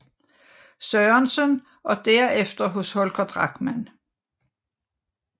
Sørensen og derefter hos Holger Drachmann